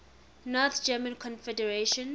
north german confederation